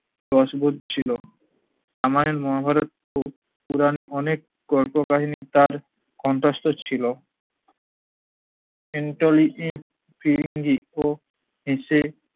রস পড়ছিলো। রামায়ণ মহাভারত পো~ পূরণে অনেক অনেক কল্পকাহিনী তার কন্ঠস্থ ছিলো। ফিরিঙ্গি ও হেসে